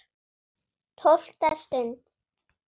TÓLFTA STUND